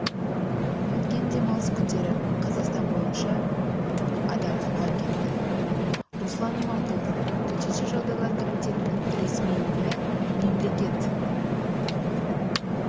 өткен демалыс күндері қазақстан бойынша адам суға кетті руслан иманқұлов төтенше жағдайлар комитетінің ресми өкілі мемлекет